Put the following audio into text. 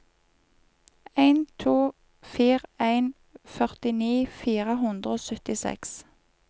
en to fire en førtini fire hundre og syttiseks